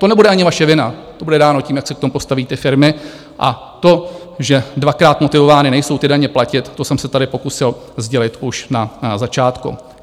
To nebude ani vaše vina, to bude dáno tím, jak se k tomu postaví ty firmy, a to, že dvakrát motivovány nejsou ty daně platit, to jsem se tady pokusil sdělit už na začátku.